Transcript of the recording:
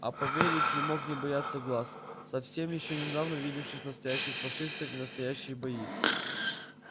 а поверив не мог не бояться глаз совсем ещё недавно видевших настоящих фашистов и настоящие бои